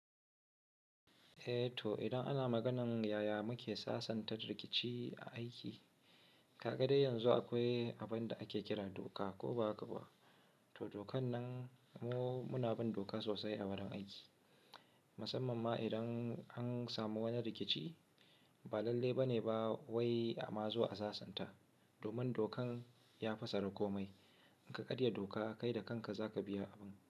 Eh to idan ana maganan yaya muke sasanta rikici a aiki, ka ga dai yanzu akwai abun da ake kira doka ko ba haka ba. To dokan nan mu muna bin doka sosai a wurin aiki. Musamman ma idan an samu wani rikici ba lalle ba ne ba wai a ma zuwa a sasanta domin dokan ya fassara komai. In ka karya doka kai da kanka za ka biya abin.